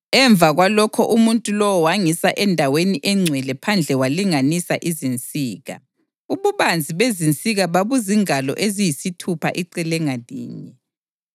Emva kwalokho umuntu lowo wangisa endaweni engcwele phandle walinganisa izinsika; ububanzi bezinsika babuzingalo eziyisithupha icele ngalinye.